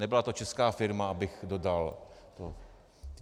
Nebyla to česká firma, abych dodal.